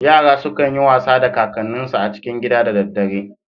Yara sukan yi wasa da kakanninsu a cikin gida da dadare.